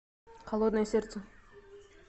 холодное сердце